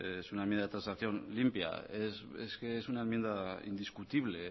es una enmienda de transacción limpia es que es una enmienda indiscutible